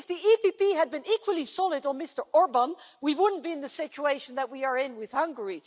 If the EPP had been equally solid on Mr Orban, we wouldn't be in the situation that we are in with Hungary.